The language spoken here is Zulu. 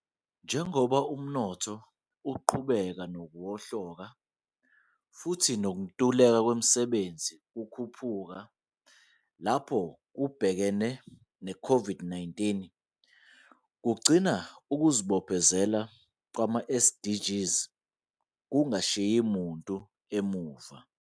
Njengoba umnotho uqhubeka nokuwohloka futhi nokuntuleka kwemisebenzi kukhuphuka lapho kubhekene ne-COVID-19, kugcina kuzibophezela kwama-SDGs kungashiyi muntu ngemuva